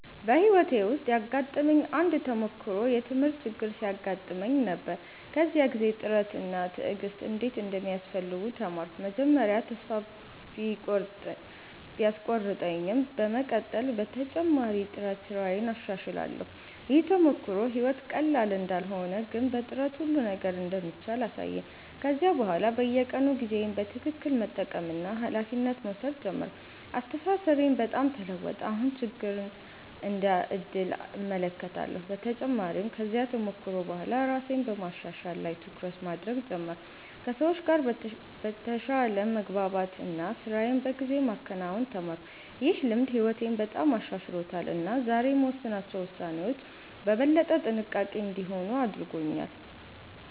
በሕይወቴ ውስጥ ያጋጠመኝ አንድ ተሞክሮ የትምህርት ችግር ሲያጋጥመኝ ነበር። በዚያ ጊዜ ጥረት እና ትዕግሥት እንዴት እንደሚያስፈልጉ ተማርኩ። መጀመሪያ ተስፋ ቢቆርጠኝም በመቀጠል በተጨማሪ ጥረት ስራዬን አሻሽላለሁ። ይህ ተሞክሮ ሕይወት ቀላል እንዳልሆነ ግን በጥረት ሁሉ ነገር እንደሚቻል አሳየኝ። ከዚያ በኋላ በየቀኑ ጊዜዬን በትክክል መጠቀምና ኃላፊነት መውሰድ ጀመርኩ። አስተሳሰቤም በጣም ተለወጠ፤ አሁን ችግርን እንደ ዕድል እመለከታለሁ። በተጨማሪም ከዚያ ተሞክሮ በኋላ ራሴን በማሻሻል ላይ ትኩረት ማድረግ ጀመርኩ፣ ከሰዎች ጋር በተሻለ መግባባት እና ስራዬን በጊዜ ማከናወን ተማርኩ። ይህ ልምድ ሕይወቴን በጣም አሻሽሎታል እና ዛሬ የምወስናቸው ውሳኔዎች በበለጠ ጥንቃቄ እንዲሆኑ አድርጎኛል።